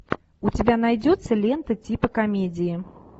у тебя найдется лента типа комедии